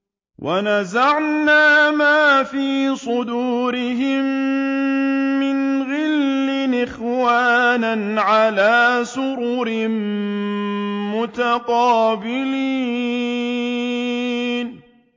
وَنَزَعْنَا مَا فِي صُدُورِهِم مِّنْ غِلٍّ إِخْوَانًا عَلَىٰ سُرُرٍ مُّتَقَابِلِينَ